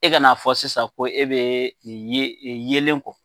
E ka n'a fɔ sisan ko e be ye yeelen kɔ